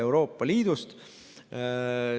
Euroopa Liidust.